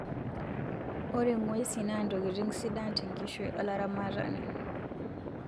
ore nguesin na ntokitin sidan te nkishui olaramatani